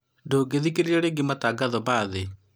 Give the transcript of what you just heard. ndũngĩthikĩrĩria rĩngĩ matangatho mathi